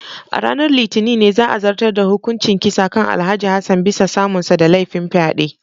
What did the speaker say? A ranar Litinin ne za a zartar da hukuncin kisa kan Alhj. Hassan bisa samunsa da laifin fyade.